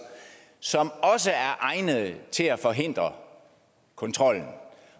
som også er egnede til at forhindre kontrollen